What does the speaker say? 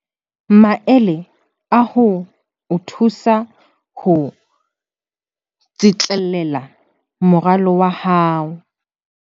Maele a ho o thusa ho tsitlallela moralo wa hao